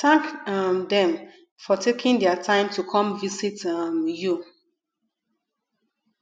thank um them for taking their time to come visit um you